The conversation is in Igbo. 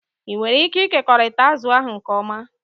Ị nwere ike ịkekọrịta azụ ahụ nke ọma?